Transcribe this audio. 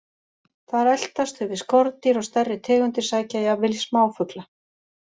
Þar eltast þau við skordýr og stærri tegundir sækja jafnvel í smáfugla.